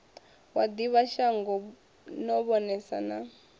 wa ḓivhashango no vhonesa na